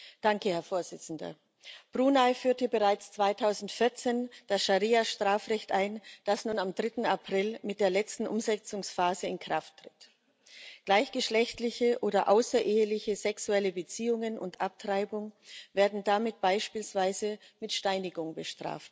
Herr Präsident! Brunei führte bereits 2014 das Scharia Strafrecht ein, das nun am 3. April mit der letzten Umsetzungsphase in Kraft tritt. Gleichgeschlechtliche oder außereheliche sexuelle Beziehungen und Abtreibung werden damit beispielsweise mit Steinigung bestraft.